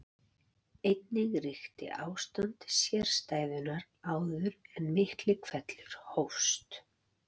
Einnig ríkti ástand sérstæðunnar áður en Miklihvellur hófst.